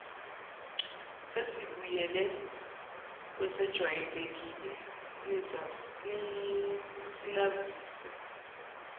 sesibuyele kwesejwayelekile sinazise